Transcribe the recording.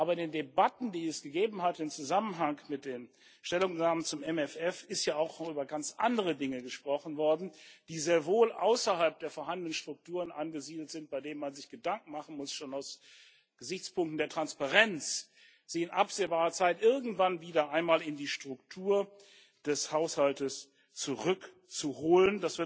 Aber in den Debatten, die es in Zusammenhang mit den Stellungnahmen zum MFF gegeben hat ist ja auch noch über ganz andere Dinge gesprochen worden, die sehr wohl außerhalb der vorhandenen Strukturen angesiedelt sind, bei denen man sich Gedanken machen muss schon aus Gesichtspunkten der Transparenz sie in absehbarer Zeit irgendwann wieder einmal in die Struktur des Haushaltes zurückzuholen.